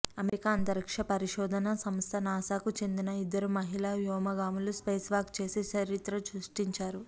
America అంతరిక్ష పరిశోధన సంస్థ నాసాకు చెందిన ఇద్దరు మహిళా వ్యోమగాములు స్పేస్ వాక్ చేసి చరిత్ర సృష్టించారు